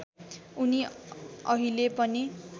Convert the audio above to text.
उनी अहिले पनि